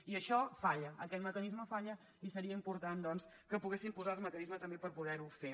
i això falla aquest mecanisme falla i seria important doncs que poguéssim posar els mecanismes també per poder ho fer